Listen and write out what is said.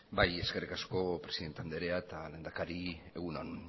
eskerrik asko presidente anderea eta lehendakari egun on